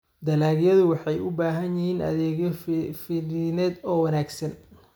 Dalagyadu waxay u baahan yihiin adeegyo fidineed oo wanaagsan.